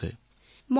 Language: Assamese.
অপৰ্ণাঃ মহোদয়